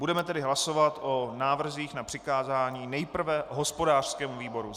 Budeme tedy hlasovat o návrzích na přikázání - nejprve hospodářskému výboru.